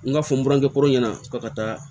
N ka fɔ n burankɛ kɔrɔ ɲɛna k'a ka taa